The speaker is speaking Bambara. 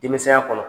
Denmisɛnya kɔnɔ